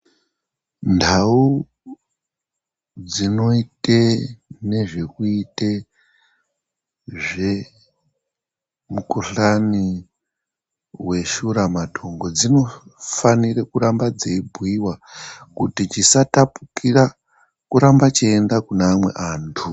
NTau dzinoite nezvekuite zvemukhuhlani weshura matongo dzinofanire kuramba dzeibhuyiwa kuti chisatapukira kuramba cheienda kune amwe antu.